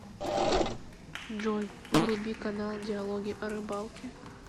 джой вруби канал диалоги о рыбалке